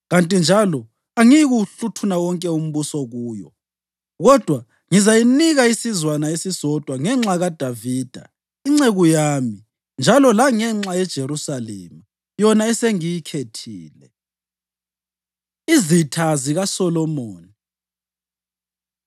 Kanti njalo angiyikuwuhluthuna wonke umbuso kuyo, kodwa ngizayinika isizwana esisodwa ngenxa kaDavida inceku yami njalo langenxa yeJerusalema, yona esengiyikhethile.” Izitha ZikaSolomoni